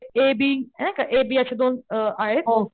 ए B नाही का A B अश्या दोन अ आहेत.